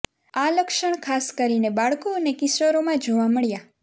આ લક્ષણ ખાસ કરીને બાળકો અને કિશોરોમાં જોવા મળ્યા